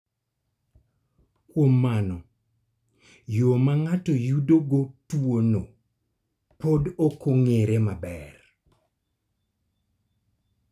Kuom mano, yo ma ng�ato yudogo tuo no pod ok ong�ere maber.